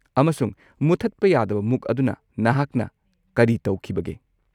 ꯑꯃꯁꯨꯡ ꯃꯨꯠꯊꯠꯄ ꯌꯥꯗꯕ ꯃꯨꯛ ꯑꯗꯨꯅ ꯅꯍꯥꯛꯅ ꯀꯔꯤ ꯇꯧꯈꯤꯕꯒꯦ?